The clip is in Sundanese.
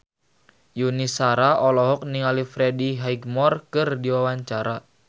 Yuni Shara olohok ningali Freddie Highmore keur diwawancara